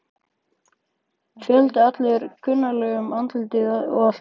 Fjöldinn allur af kunnuglegum andlitum allt í kring.